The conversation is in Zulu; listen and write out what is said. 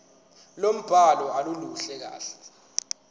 lombhalo aluluhle kahle